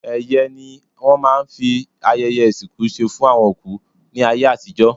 Ẹ̀yẹ́ ni wọ́n máa ń fi ayẹyẹ ìsìnkú ṣe fún àwọn òkú ní ayé àtijọ́.